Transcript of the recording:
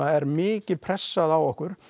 er mikið pressað á okkur það